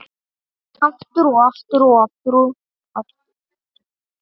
Aftur og aftur og aftur.